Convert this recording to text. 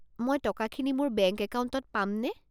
মই টকাখিনি মোৰ বেংক একাউণ্টত পামনে?